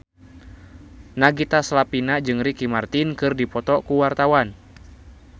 Nagita Slavina jeung Ricky Martin keur dipoto ku wartawan